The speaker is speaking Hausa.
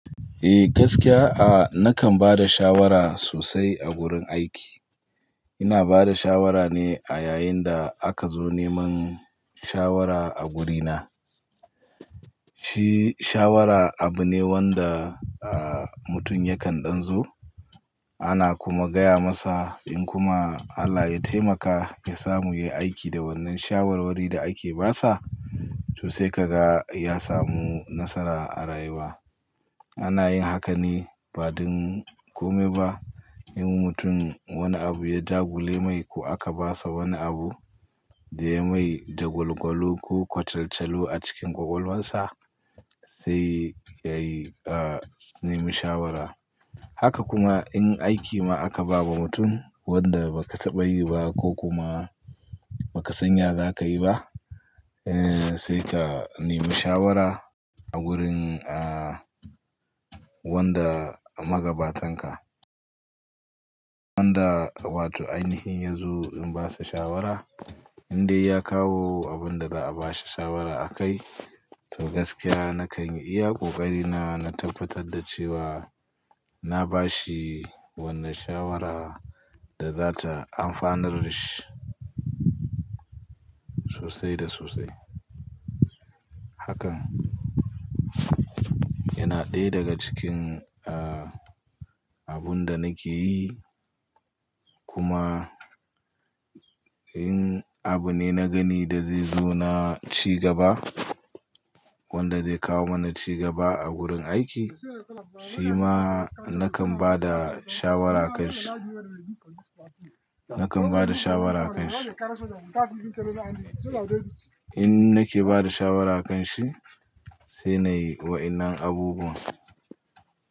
Eh gaskiya, ah, nakan ba da shawara sosai a wurin aiki. Ina ba da shawara ne a yayin da aka zo neman, shawara a wurina. Shi shawara abu ne wanda mutum yakan ɗan zo ana kuma gaya masa in kuma Allah ya taimaka, ya samu yi aiki da wannan shawarwari da ake basa. Toh, sai, ka ga ya samu nasara a rayuwa. Ana yin haka ne ba don kome ba. In mutum wani abu ya dagule mai ko aka basa wani abu, da yayi mai dagwalgwalu ko kwatantalu a cikin ƙwaƙwalwarsa sai yayi, ah, nemi shawara. Haka kuma in aiki ma aka ba ma mutum wanda ba ka taba yi ba ko kuma ba ka san ya za ka yi ba, eh, sai ka nemi shawara, a wurin, ah, wanda magabatanka. Wanda wato ainihin ya zo in basa shawara, in dai ya kawo abun da za a bashi shawara akai to gaskiya nakan yi iya kokarina na tabbatar da cewa na bashi wannan shawara da za ta amfanar da shi sosai da sosai. Hakan yana ɗaya daga cikin, a, abun da nake yi kuma in abu ne na gani da zai zo na cigaba wanda zai kawo mana cigaba a wurin aiki shi ma nakan ba da, shawara akanshi, nakan ba da shawara akanshi. In nake bada shawara akanshi sai na yi waennan abubuwa.